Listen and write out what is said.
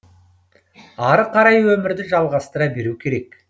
ары қарай өмірді жалғастыра беру керек